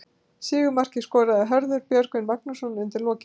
Sigurmarkið skoraði Hörður Björgvin Magnússon undir lokin.